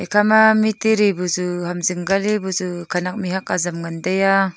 akha ma mitiri bu chu ham jing ke bu chu khenak mihhuak aram ngan teiya.